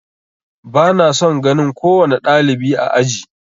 Ba na son ganin kowane ɗalibi a aji.